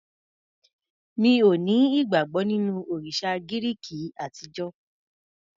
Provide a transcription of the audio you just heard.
Mi ò ní ìgbàgbọ́ nínú òrìsà Gíríki àtijó.